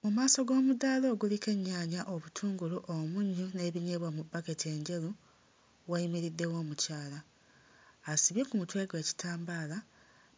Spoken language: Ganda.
Mu maaso g'omudaala oguliko ennyaanya, obutungulu, omunnyo n'ebinyeebwa mu bbaketi enjeru wayimiriddewo omukyala asibye ku mutwe gwe ekitambaala